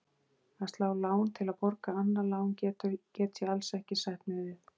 Að slá lán til að borga annað lán get ég alls ekki sætt mig við.